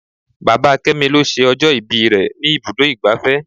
Bàbá kémi lọ ṣe ọjọ́ ìbí rẹ ní ibùdó igbàfẹ́.